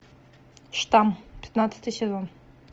штамм пятнадцатый сезон